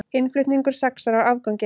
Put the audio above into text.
Innflutningur saxar á afganginn